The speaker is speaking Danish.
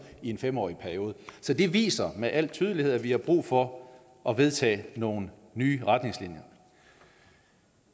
i en fem årig periode så det viser med al tydelighed at vi har brug for at vedtage nogle nye retningslinjer